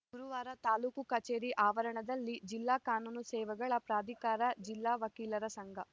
ಗುರುವಾರ ತಾಲೂಕು ಕಚೇರಿ ಆವರಣದಲ್ಲಿ ಜಿಲ್ಲಾ ಕಾನೂನು ಸೇವೆಗಳ ಪ್ರಾಧಿಕಾರ ಜಿಲ್ಲಾ ವಕೀಲರ ಸಂಘ